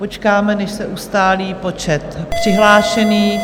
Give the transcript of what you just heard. Počkáme, než se ustálí počet přihlášených.